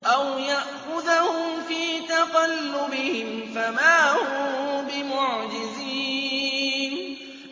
أَوْ يَأْخُذَهُمْ فِي تَقَلُّبِهِمْ فَمَا هُم بِمُعْجِزِينَ